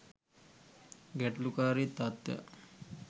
ගැටලුකාරී තත්ත්වයක්